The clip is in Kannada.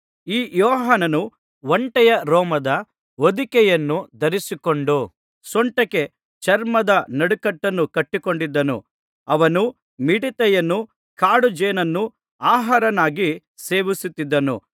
ಈ ಯೋಹಾನನು ಒಂಟೆಯ ರೋಮದ ಹೊದಿಕೆಯನ್ನು ಧರಿಸಿಕೊಂಡು ಸೊಂಟಕ್ಕೆ ಚರ್ಮದ ನಡುಕಟ್ಟನ್ನು ಕಟ್ಟಿಕೊಂಡಿದ್ದನು ಅವನು ಮಿಡತೆಯನ್ನೂ ಕಾಡುಜೇನನ್ನೂ ಆಹಾರವನ್ನಾಗಿ ಸೇವಿಸುತ್ತಿದ್ದನು